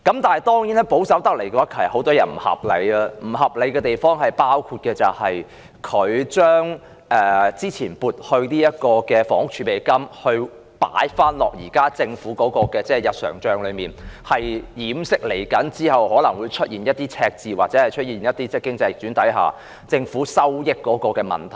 但是，在保守思維下，很多地方也不合理，包括財政司司長將過去撥入的房屋儲備金放回政府的日常帳目中，以掩飾其後可能出現赤字，或在出現經濟逆轉下，政府的收益問題。